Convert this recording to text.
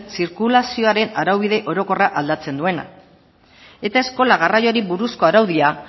zirkulazioaren araubide orokorra aldatzen duena eta eskola garraioari buruzko araudia